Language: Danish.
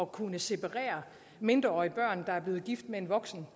kunne separere mindreårige børn der er blevet gift med en voksen